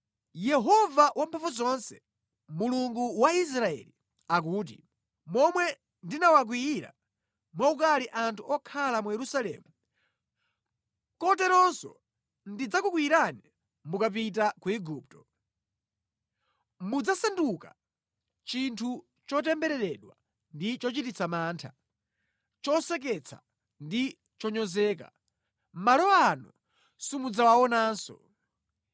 Yehova Wamphamvuzonse, Mulungu wa Israeli akuti, ‘Momwe ndinawakwiyira mwaukali anthu okhala mu Yerusalemu, koteronso ndidzakukwiyirani mukapita ku Igupto. Mudzasanduka chinthu chotembereredwa ndi chochititsa mantha, choseketsa ndi chonyozeka. Malo ano simudzawaonanso.’